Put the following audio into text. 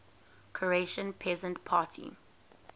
croatian peasant party